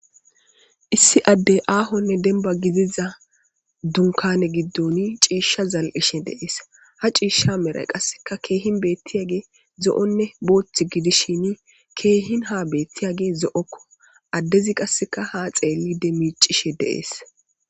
Issi addey aahonne denba gidiza dunkane giddoni ciishsha zal'ishe deees ha ciishsha mere qasseka keehin beetti age zo'onne booththi gidishini keehin ha beetti age zo'okko addezi qasseka ha xeelli demicishe deees